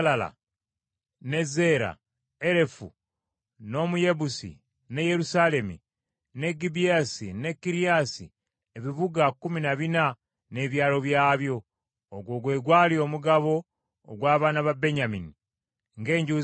ne Zeera, Erefu n’Omuyebusi, ye Yerusaalemi, ne Gibeasi ne Kiriasi ebibuga kkumi na bina n’ebyalo byabyo. Ogwo gwe gwali omugabo ogw’abaana ba Benyamini ng’enju zaabwe bwe zaali.